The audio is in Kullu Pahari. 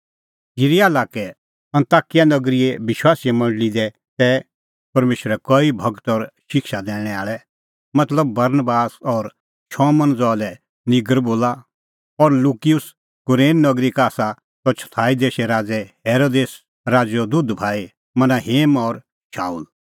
सिरीया लाक्के अन्ताकिया नगरीए विश्वासीए मंडल़ी दी तै परमेशरे कई गूर और शिक्षा दैणैं आल़ै मतलबबरनबास और शमौन ज़हा लै निगर बोला और लुकियुस कुरेन नगरी का आसा त चौथाई देशे राज़ै हेरोदेस राज़ैओ दुधभाई मनाहेम और शाऊल